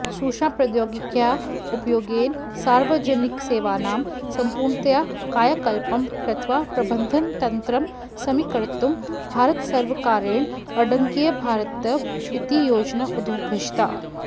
सूचनाप्रौद्योगिक्याः उपयोगेन सार्वजनिकसेवानां सम्पूर्णतया कायाकल्पं कृत्वा प्रबन्धनतन्त्रं समीकर्तुं भारतसर्वकारेण अङ्कीयभारतम् इति योजना उद्घोषिता